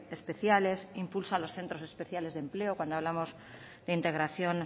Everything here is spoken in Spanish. especiales impulso a los centros especiales de empleo cuando hablamos de integración